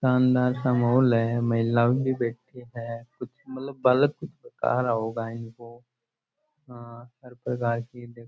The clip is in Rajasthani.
शानदार सा माहौल है महिला भी बैठी है कुछ मतलब बालक कुछ बता रहा होगा इनको हर प्रकार की देखो।